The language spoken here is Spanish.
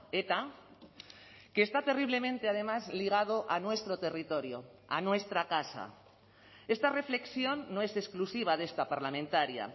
eta que está terriblemente además ligado a nuestro territorio a nuestra casa esta reflexión no es exclusiva de esta parlamentaria